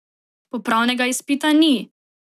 Popravnega izpita ni!